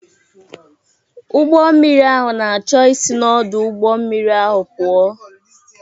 Ụgbọ mmiri ahụ na-achọ isi n'ọdụ ụgbọ mmiri ahụ pụọ.